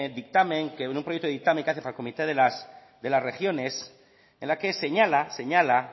dictamen que en un proyecto de dictamen que hace para el comité de las regiones en la que señala señala